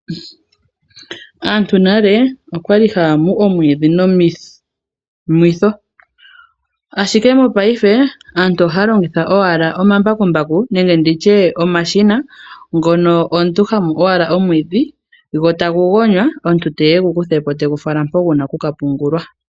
Aantu nale okwali haya mu omwiidhi nomimwitho ashike mopayife aantu ohaya longitha owala omambakumbaku nenge nditye omashina ngoka ngono omuntu hamu owala omwiidhi, gotagu gonywa, ye omuntu te gu kutha po go gu vulwe oku ka pungulwa.